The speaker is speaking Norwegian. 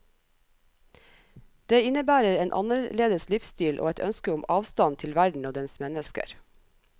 Det innebærer en annerledes livsstil og et ønske om avstand til verden og dens mennesker.